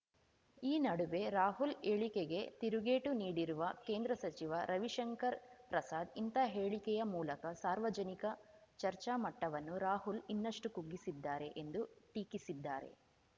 ಈ ನಡುವೆ ರಾಹುಲ್‌ ಹೇಳಿಕೆಗೆ ತಿರುಗೇಟು ನೀಡಿರುವ ಕೇಂದ್ರ ಸಚಿವ ರವಿಶಂಕರ್‌ ಪ್ರಸಾದ್‌ ಇಂಥ ಹೇಳಿಕೆಯ ಮೂಲಕ ಸಾರ್ವಜನಿಕ ಚರ್ಚಾ ಮಟ್ಟವನ್ನು ರಾಹುಲ್‌ ಇನ್ನಷ್ಟುಕುಗ್ಗಿಸಿದ್ದಾರೆ ಎಂದು ಟೀಕಿಸಿದ್ದಾರೆ